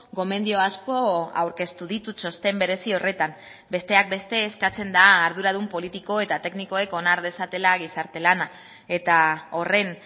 gomendio asko aurkeztu ditu txosten berezi horretan besteak beste eskatzen da arduradun politiko eta teknikoek onar dezatela gizarte lana eta horren